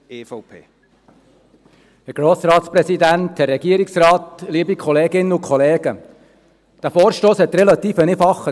Er ist in der ersten Erkennung auch relativ einfach.